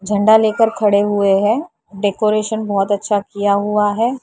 झण्डा लेकर खड़े हुए हैं डेकोरेशन बहुत अच्छा किया हुआ है।